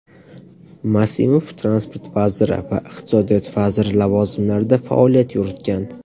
Masimov Transport vaziri va iqtisodiyot vaziri lavozimlarida faoliyat yuritgan.